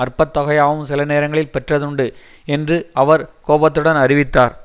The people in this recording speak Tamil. அற்பத்தொகையாவும் சில நேரங்களில் பெற்றதுண்டு என்று அவர் கோபத்துடன் அறிவித்தார்